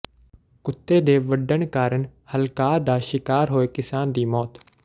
ਕੁੱਤੇ ਦੇ ਵੱਢਣ ਕਾਰਨ ਹਲਕਾਅ ਦਾ ਸ਼ਿਕਾਰ ਹੋਏ ਕਿਸਾਨ ਦੀ ਮੌਤ